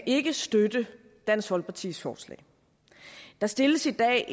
ikke kan støtte dansk folkepartis forslag der stilles i dag